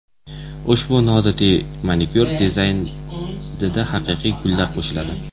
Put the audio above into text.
Ushbu noodatiy manikyur dizaynida haqiqiy gullar qo‘llaniladi.